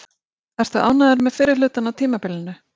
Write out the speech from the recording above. Ertu ánægður með fyrri hlutann á tímabilinu?